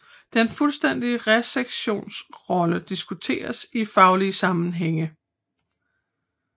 Den fuldstændige resektions rolle diskuteres i faglige sammenhænge